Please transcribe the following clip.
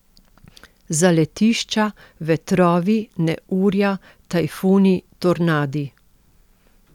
Zaletišča, vetrovi, neurja, tajfuni, tornadi ...